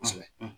Kosɛbɛ